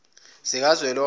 zikazwelonke